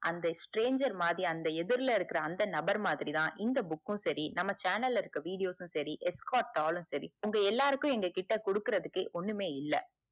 அந்த stranger மாதிரி அந்த எதிர்ல இருக்குற அந்த நபர் மாதிரி தான் இந்த book உம் செரி நம்ம channel இருக்குற videos உம் செரி escort ஆலும் செரிஉங்க எல்லார்கிட்டயும் குடுக்குறதுக்கு ஒன்னுமே இல்ல